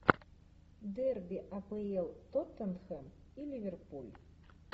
дерби апл тоттенхэм и ливерпуль